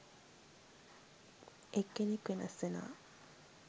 එක් කෙනෙක් වෙනස් වෙනවා.